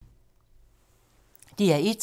DR1